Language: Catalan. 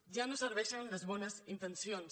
ja no serveixen les bones intencions